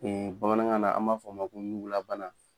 Ee bamanankan na an b'a fɔ a ma ko ɲugu la bana